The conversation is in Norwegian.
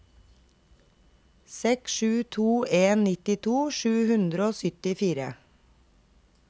seks sju to en nittito sju hundre og syttifire